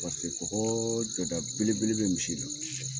kɔkɔɔ dɛmɛ belebele be misi la.